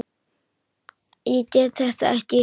Ég get þetta ekki.